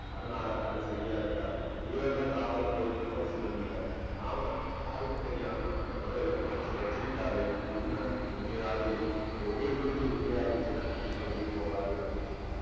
அதனால, அது சரியா இருக்காது. வீரர்களை காவலுக்கு வைக்கிறதும் உசிதம் இல்லை. நாம யாருக்கும் தெரியாம அந்த புதையலை புதைச்சு வச்சுட்டாலே உண்மை உண்மையாவே இருக்கும். அது உங்களுக்கு தெரிஞ்ச உண்மையா இருந்துச்சுன்னா கண்டிப்பா வெளிய போகாது அப்பிடின்னு